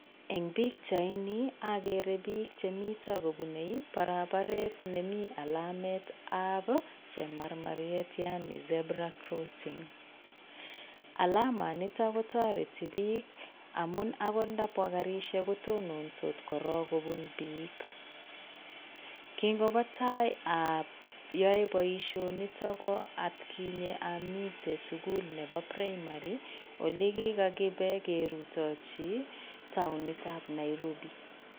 Eng' pikchaini akere biik chemito kubune barabaret nemi alametab Chemarmariet yaani zebra crossing alamanitok kotareti biik amu akot ndabwa karishek kotonondos korok kobun biik. Kingobo tai ayae baisionito ko atkinye amitei sukul nebo primary olekikakibe kerutochi taonitab Nairobi.